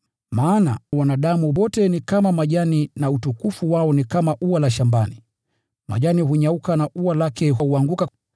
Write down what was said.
Maana, “Wanadamu wote ni kama majani, nao utukufu wao ni kama maua ya kondeni; majani hunyauka na maua huanguka,